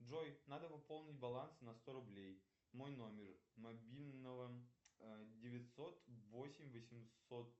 джой надо пополнить баланс на сто рублей мой номер мобильного девятьсот восемь восемьсот